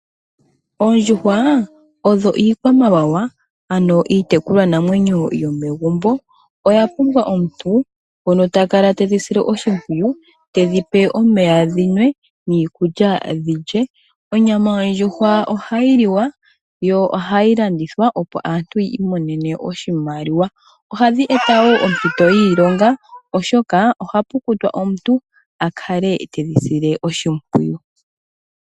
Oondjuhwa odho iikwamawawa ano iitekulwanamwenyo yomegumbo. Oyapumbwa omuntu ngono takala tedhi sile oshimpwiyu , tedhipe omeya dhinwe niikulya dhilye. Onyama yondjuhwa ohayi liwa, yo ohayi landithwa opo aantu yiimonenemo oshimaliwa. Ohadhi eta wo ompito yiilonga oshoka ohapu pumbwa omuntu akale tedhi sile oshimpwiyu.